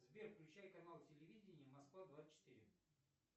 сбер включай канал телевидения москва двадцать четыре